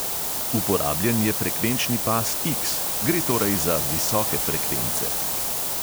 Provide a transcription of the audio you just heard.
Uporabljen je frekvenčni pas X, gre torej za visoke frekvence.